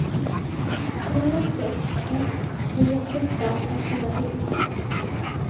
tre sex ett tre sjutton etthundrasjuttiotvå